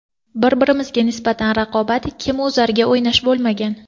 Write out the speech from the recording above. Bir-birimizga nisbatan raqobat, kim o‘zarga o‘ynash bo‘lmagan.